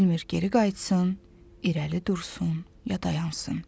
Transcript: Bilmir geri qayıtsın, irəli dursun, ya dayansın.